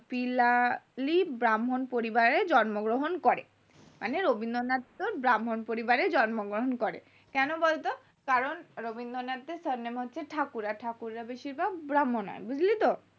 ব্রাহ্মন পরিবারে জন্ম গ্রহণ করেন মানে রবীন্দ্রনাথ তোর ব্রাহ্মন পরিবারে জন্মগ্রহণ করেন কেন বলতো কারণ রবীন্দ্রনাথের surname হচ্ছে ঠাকুর আর ঠাকুররা বেশিরভাগ ব্রাহ্মণ হয় বুজলি তো